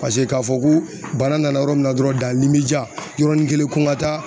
Paseke k'a fɔ ko bana nana yɔrɔ min na dɔrɔn yɔrɔnin kelen ko n ka taa